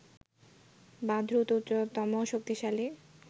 বা দ্রুত, উচ্চতম শক্তিশালী